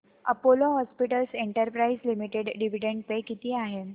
Apollo hospitals enterprises limited dividend pay किती आहे